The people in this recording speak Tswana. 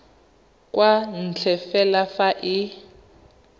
kwa ntle fela fa e